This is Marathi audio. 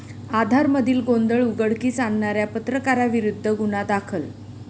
आधार'मधील गोंधळ उघडकीस आणणाऱ्या पत्रकाराविरूद्ध गुन्हा दाखल